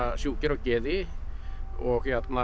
sjúkir á geði og